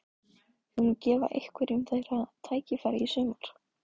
Þú munt gefa einhverjum þeirra tækifæri í sumar?